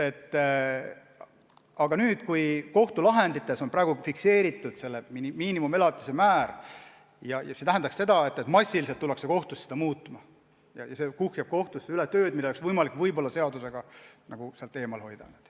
Aga kui kohtulahendites on praegu fikseeritud miinimumelatise määr, siis see tähendab seda, et massiliselt tullakse kohtusse seda muutma ja see kuhjab kohtud üle tööga, mida oleks võimalik seadusega sealt eemal hoida.